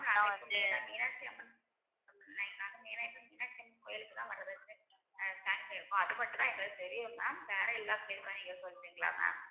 நான் வந்து மீனாட்சி அம்மன் கோயிலுக்கு அது மட்டும்தான் எங்களுக்கு தெரியும் ma'am வேற எல்லா place உமே நீங்க சொல்றீங்களா ma'am